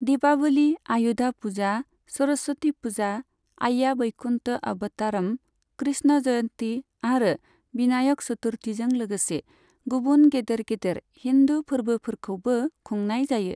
दीपावली, आयुधा फुजा, सरस्वती फुजा, आय्या बैकुन्त अवतारम, कृष्ण जयन्ती आरो बिनायक चतुर्थीजों लोगोसे गुबुन गेदेर गेदेर हिन्दु फोरबोफोरखौबो खुंनाय जायो।